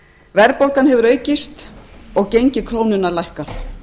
verðbólgan hefur aukist og gengi krónunnar lækkað